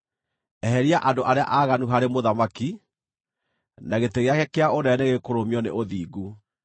eheria andũ arĩa aaganu harĩ mũthamaki, na gĩtĩ gĩake kĩa ũnene nĩgĩkũrũmio nĩ ũthingu.